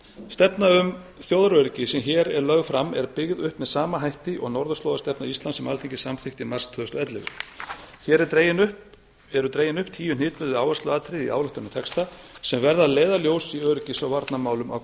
stefna um þjóðaröryggi sem hér er lögð fram er byggð upp með sama hætti og norðurslóðastefna íslands sem alþingi samþykkti í mars tvö þúsund og ellefu hér eru dregin upp tíu hnitmiðuð áhersluatriði í ályktun um þetta sem verða leiðarljós í öryggis og varnarmálum á